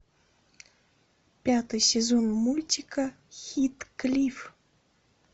пятый сезон мультика хитклифф